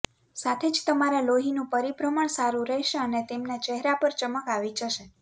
સાથે જ તમારા લોહીનું પરિભ્રમણ સારુ રહેશે અને તેમના ચહેરા પર ચમક આવી જશે